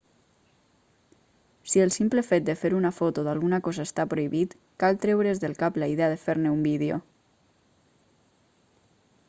si el simple fet de fer una foto d'alguna cosa està prohibit cal treure's del cap la idea de fer-ne un vídeo